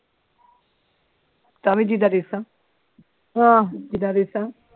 ਤ ਆਹੋ